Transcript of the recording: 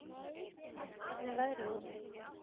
Marikó, hvernig er veðrið úti?